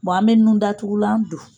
Bon an bɛ nun datugulan don.